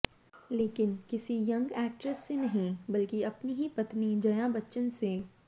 लेकिन किसी young actress से नहीं बल्कि अपनी ही पत्नी जया बच्चन से